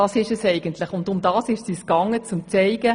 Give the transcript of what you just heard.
Das ist eigentlich, was wir zeigen wollten: